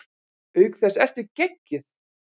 Auk þess ertu geggjuð!